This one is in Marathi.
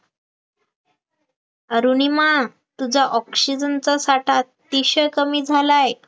अरुणिमा तुझा oxygen चा साठा अतिशय कमी झालाय